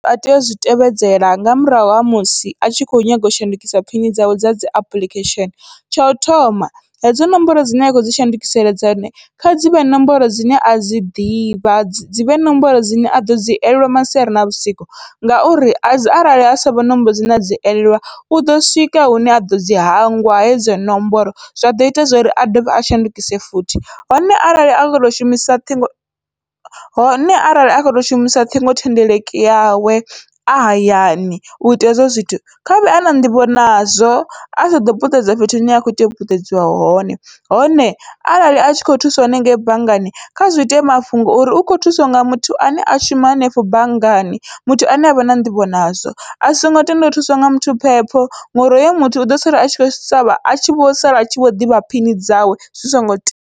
Vha tea uzwi tevhedzela nga murahu ha musi a tshi kho nyaga u shandukisa phini dzawe dza dzi apuḽikhesheni, tshau thoma hedzo ṋomboro dzine a kho dzi shandukisela dzone kha dzivhe ṋomboro dzine adzi ḓivha dzivhe ṋomboro dzine aḓo dzi elelwe masiari na vhusiku, ngauri arali ha savha ṋomboro dzine adzi elelwa uḓo swika hune aḓo dzi hangwa hedzo ṋomboro zwaḓo ita zwori a dovhe a shandukise futhi. Hone arali a kho to shumisa ṱhingo hone arali a kho to shumisa ṱhingo thendeleki yawe a hayani uita hezwo zwithu khavhe ana nḓivho nazwo asa ḓo puṱedza fhethu hune ha khou itea u puṱedza hone, hone arali a tshi kho thuswa henengeyi banngani kha zwi ite mafhungo ori u kho thuswa nga muthu ane a shuma hanefho banngani muthu ane avha na nḓivho nazwo, asongo tenda u thuswa nga muthu phepho ngori hoyo muthu uḓo sala atshi kho shavha atshi vho sala atshi vho ḓivha phini dzawe zwi songo tea.